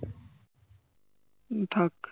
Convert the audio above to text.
উম থাক